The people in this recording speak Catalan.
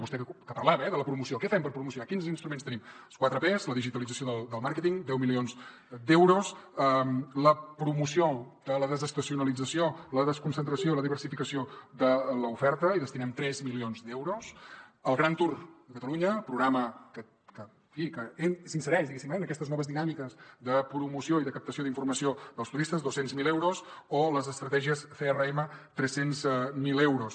vostè que parlava de la promoció què fem per promocionar quins instruments tenim les quatre pes la digitalització del màrqueting deu milions d’euros la promoció de la desestacionalització la desconcentració la diversificació de l’oferta hi destinem tres milions d’euros el gran toursereix en aquestes noves dinàmiques de promoció i de captació d’informació dels turistes dos cents miler euros o les estratègies crm tres cents miler euros